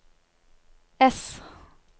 S